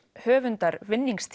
höfundar